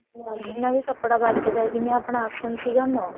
ਹੋਰ ਜਿੰਨਾ ਵੀ ਕੱਪੜਾ ਬਚਦਾ ਜਿਵੇਂ ਆਪਣਾ ਆਸਣ ਸਿਆਗ ਨੋ